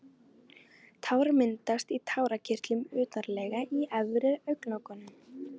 Tár myndast í tárakirtlum utarlega í efri augnlokunum.